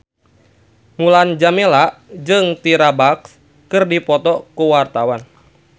Mulan Jameela jeung Tyra Banks keur dipoto ku wartawan